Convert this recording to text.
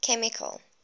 chemical